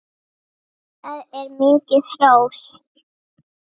Það er ansi mikið hrós!